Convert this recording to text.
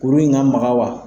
Kurun in ka maga wa?